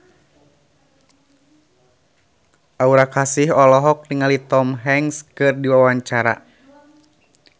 Aura Kasih olohok ningali Tom Hanks keur diwawancara